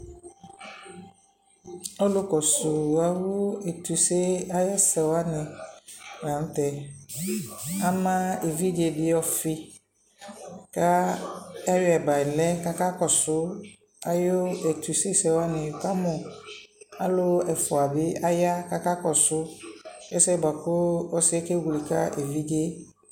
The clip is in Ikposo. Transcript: ɔlʋ kɔsʋ awʋ ɛtʋsɛ ayi ɛsɛ wani lantɛ, am ɛvidzɛ di ɔƒi ka ayɔi bala kʋ aka kɔsʋ ayi ɛtʋsɛ sɛ wani, ni kamʋ alʋ ɛƒʋa bi aya kʋ aka kɔsʋ, ɛsɛ bʋakʋ ɔsiiɛ kɛwlɛ ka ɛvidzɛ